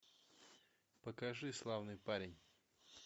покажи славный парень